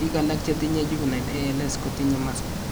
Biik alak chetinye juvinle ALS, kotinye muscle